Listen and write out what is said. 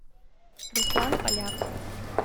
руслан поляк